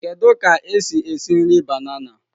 Kedu ka esi esi esi nri banana?